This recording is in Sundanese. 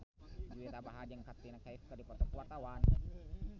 Juwita Bahar jeung Katrina Kaif keur dipoto ku wartawan